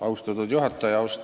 Austatud juhataja!